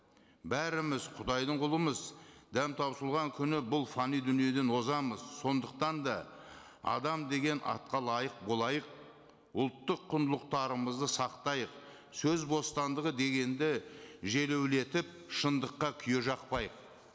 бәріміз құдайдың құлымыз дәм таусылған күні бұл фәни дүниеден озамыз сондықтан да адам деген атқа лайық болайық ұлттық құндылықтарымызды сақтайық сөз бостандығы дегенді желеулетіп шындыққа күйе жақпайық